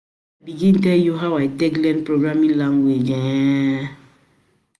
begin tell you how I take learn programming languages um